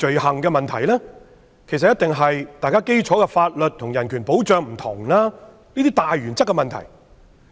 其實，問題一定是出於雙方的基礎法律和人權保障不同等大原則。